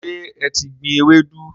Ṣe e ti gbìn Ewedu?